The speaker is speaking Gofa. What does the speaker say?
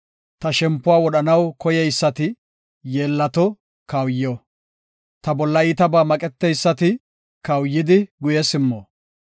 Ta shempuwa wodhanaw koyeysati, yeellato; kawuyo. Ta bolla iitabaa maqeteysati, kawuyidi guye simmo.